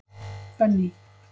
Benný